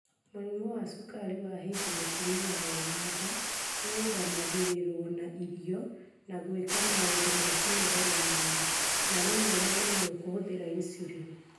Mũrimũ wa cukari wa hĩndĩ mũtumia ena nda ũrũgamagĩrĩrũo na irio na gwĩka maũndũ ma kũnogora mwĩrĩ, na rĩmwe na rĩmwe kũhũthĩra insulin.